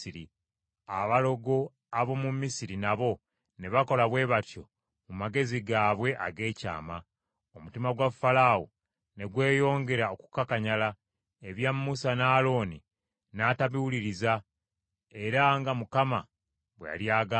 Abalogo ab’omu Misiri nabo ne bakola bwe batyo mu magezi gaabwe ag’ekyama. Omutima gwa Falaawo ne gweyongera okukakanyala, ebya Musa ne Alooni n’atabiwuliriza era nga Mukama bwe yali agambye;